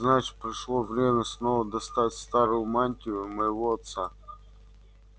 значит пришло время снова достать старую мантию моего отца